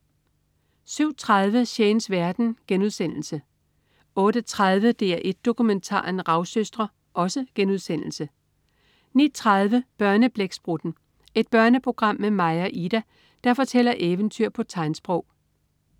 07.30 Shanes verden* 08.30 DR1 Dokumentaren. Ravsøstre* 09.30 Børneblæksprutten. Et børneprogram med Maja og Ida, der fortæller eventyr på tegnsprog